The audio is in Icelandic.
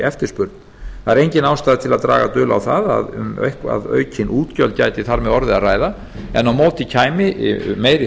eftirspurn það er engin ástæða til að draga dul á það að um eitthvað aukin útgjöld gæti þar með orðið að ræða en á móti kæmi meiri